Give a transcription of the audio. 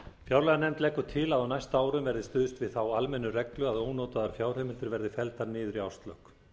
fjárlaganefnd leggur til að á næstu árum verði stuðst við þá almennu reglu að ónotaðar fjárheimildir verði felldar niður í árslok